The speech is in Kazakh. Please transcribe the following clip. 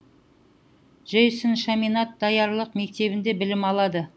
джейсон шаминад даярлық мектебінде білім алады